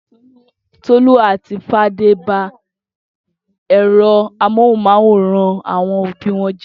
Tolú àti Fadé ba ẹ̀rọ amóhùmáwòhán àwọn òbí wọn jẹ́?